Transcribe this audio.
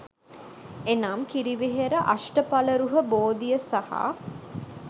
එනම්, කිරිවෙහෙර අෂ්ටඵලරුහ බෝධිය සහ